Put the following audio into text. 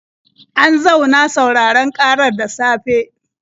An zauna sauraron ƙarar da safe.